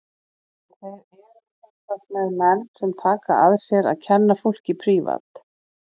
En þeir eru sem sagt með menn sem taka að sér að kenna fólki prívat.